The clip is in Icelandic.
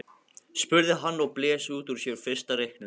spurði hann og blés út úr sér fyrsta reyknum.